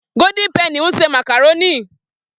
Gódín pẹnì n ṣe màkàrónì.